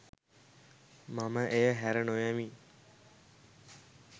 මම එය හැර නොයමි